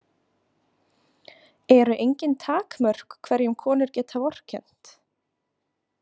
Eru engin takmörk hverjum konur geta vorkennt?